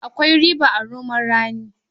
Akwai riba a noman rani.